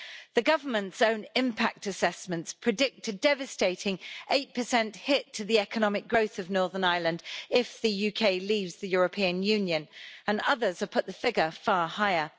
The government's own impact assessments predict a devastating 8 hit to the economic growth of Northern Ireland if the UK leaves the European Union, and others have put the figure far higher.